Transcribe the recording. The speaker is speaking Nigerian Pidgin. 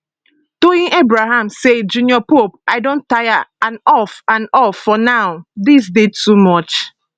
toyin abraham say jnr pope i don tire and off and off for now dis dey too much